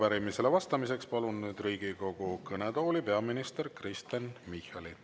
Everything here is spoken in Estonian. Ja arupärimisele vastamiseks palun nüüd Riigikogu kõnetooli peaminister Kristen Michali.